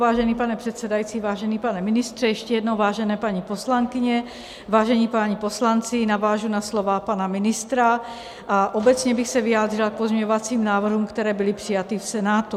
Vážený pane předsedající, vážený pane ministře, ještě jednou, vážené paní poslankyně, vážení páni poslanci, navážu na slova pana ministra a obecně bych se vyjádřila k pozměňovacím návrhům, které byly přijaty v Senátu.